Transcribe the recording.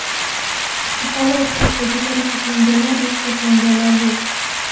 Aholi o‘rtasida jarohatlanganlar va shikastlanganlar yo‘q.